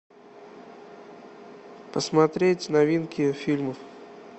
посмотреть новинки фильмов